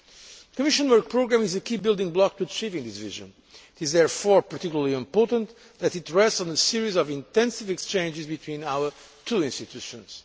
The Commission work programme is a key building block to achieving this vision. It is therefore particularly important that it rests on a series of intensive exchanges between our two institutions.